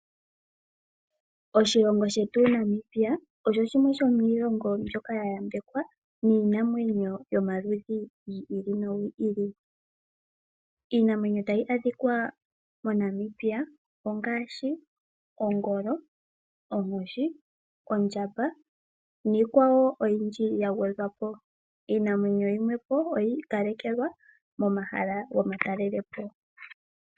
Oshilongo shetu Namibia osho shimwe shomiilongo mbyoka yambekwa niinamwenyo yomaludhi gi ili nogi ili. Iinamwenyo tayi adhikwa moNamibia ongaashi ongolo, onkoshi, ondjamba niikwawo oyindji ya gwedhwa po. Iinamwenyo yimwe oyiikalekelwa momahala gomatalelepo.